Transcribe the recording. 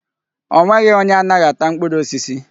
O nweghị onye anaghị ata mkpụrụ osisi.